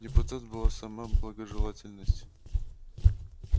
депутат была сама благожелательность